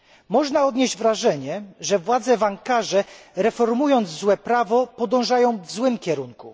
Można odnieść wrażenie, że władze w Ankarze, reformując złe prawo, podążają w złym kierunku.